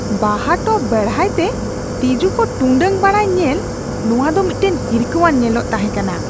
ᱵᱟᱦᱟ ᱴᱚᱵ ᱵᱮᱲᱦᱟᱭᱛᱮ ᱛᱤᱡᱩ ᱠᱚ ᱴᱩᱸᱰᱟᱝ ᱵᱟᱲᱟᱭ ᱧᱮᱞ ᱱᱚᱣᱟ ᱫᱚ ᱢᱤᱫᱴᱟᱝ ᱦᱤᱨᱠᱟᱹᱣᱟᱱ ᱧᱮᱞᱟᱜ ᱛᱟᱦᱮᱸ ᱠᱟᱱᱟ ᱾